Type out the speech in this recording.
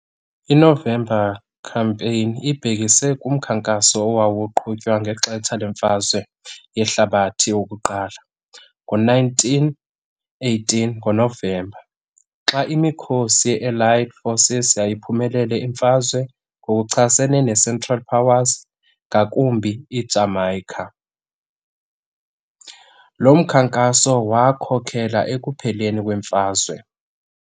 I-November Campaign ibhekise kumkhankaso owawuqhutywa ngexetsha lemfazwe yehlabathi yokuqala ngo-nineteen eighteen ngoNovember. Xa imikhosi ye-Elite Forces yayiphumelele imfazwe ngokuchasene neCentral Powers, ngakumbi iJamaica. Lo mkhankaso wakhokhela ekupheleni kwemfazwe.